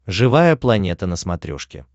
живая планета на смотрешке